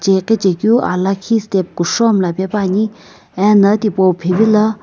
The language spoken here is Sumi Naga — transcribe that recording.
iqichekeu aa lakhi step kushou mlla pe puani ena tipau phivila.